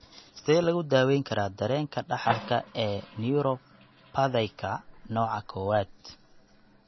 Sidee lagu daweyn karaa dareenka dhaxalka ee neuropathyka nooca kowad?